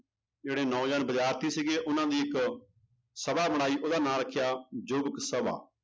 ਜਿਹੜੇ ਨੌਜਵਾਨ ਵਿਦਿਆਰਥੀ ਸੀਗੇ ਉਹਨਾਂ ਦੀ ਇੱਕ ਸਭਾ ਬਣਾਈ ਉਹਦਾ ਨਾਂ ਰੱਖਿਆ ਯੁਵਕ ਸਭਾ।